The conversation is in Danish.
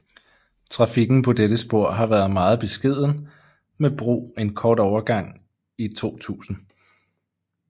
Trafikken på dette spor har været meget beskeden med brug en kort overgang i 2000